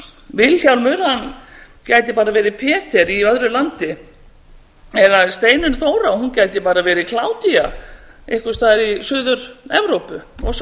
vilhjálmur gæti bara verið í öðru landi eða steinunn þóra hún gæti bara verið kládía einhvers staðar í suður evrópu og svo